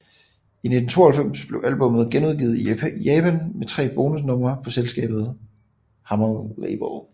I 1992 blev albummet genudgivet i Japan med tre bonus numre på selskabet Hammer Label